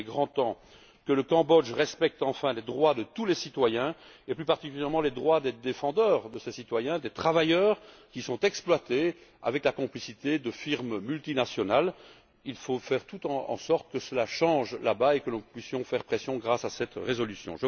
Par conséquent, il est grand temps que le Cambodge respecte enfin les droits de tous les citoyens et plus particulièrement les droits des défenseurs de ces citoyens, des travailleurs qui sont exploités avec la complicité de firmes multinationales. Il faut faire en sorte que cela change là bas et que nous puissions faire pression grâce à cette résolution.